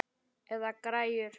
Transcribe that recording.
Eða græjur.